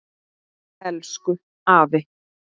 Elsku afi.